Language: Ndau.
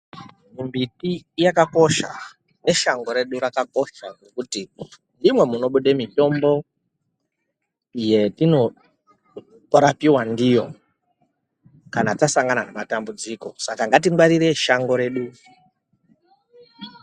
Mbipi yakakosha neshango redu rakakosha ndokuti ndimwo mwunebude mitombo yetinorapiwa ndiyo kana tasangana nematambudziko Saka ngatingwarire shango redu